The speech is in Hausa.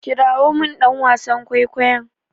Kirawo min dan wasan kwaikwayon!